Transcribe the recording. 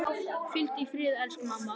Hvíldu í friði elsku mamma.